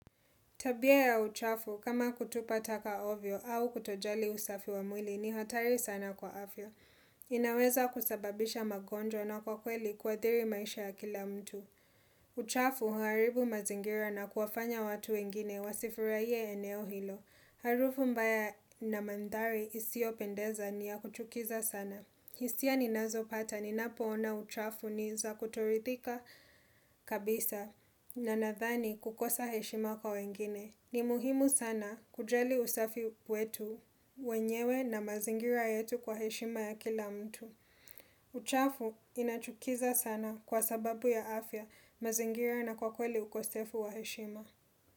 Tabia ya uchafu, kama kutupa taka ovyo au kutojali usafi wa mwili ni hatari sana kwa afya inaweza kusababisha magonjwa na kwa kweli kuathiri maisha ya kila mtu. Uchafu huaribu mazingira na kuwafanya watu wengine wa sifuraie eneo hilo. Harufu mbaya na mandhari isi opendeza ni ya kuchukiza sana. Hisia ni nazo pata ni napo ona uchafu ni za kutorithika kabisa na nadhani kukosa heshima kwa wengine. Ni muhimu sana kujali usafi wetu wenyewe na mazingira yetu kwa heshima ya kila mtu. Uchafu inachukiza sana kwa sababu ya afya mazingira na kwa kweli ukosefu wa heshima.